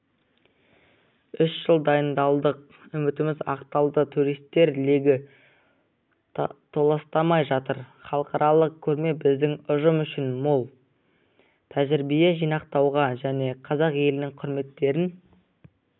үш жыл дайындалдық үмітіміз ақталды туристер легі толастамай жатыр халықаралық көрме біздің ұжым үшін мол тәжірибе жинақтауға және қазақ елінің кереметтерін